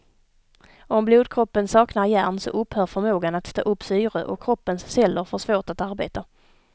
Om blodkroppen saknar järn så upphör förmågan att ta upp syre och kroppens celler får svårt att arbeta.